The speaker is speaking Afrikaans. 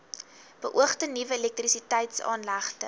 beoogde nuwe elektrisiteitsaanlegte